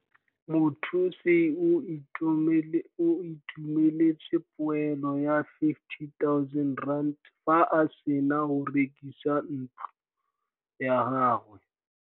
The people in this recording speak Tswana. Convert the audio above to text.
Mothusi o Itumeletse poêlô ya R50 000 fa a sena go rekisa ntlô ya gagwe.